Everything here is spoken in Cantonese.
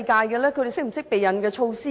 他們是否懂得避孕的措施？